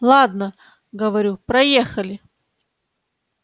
ладно говорю проехали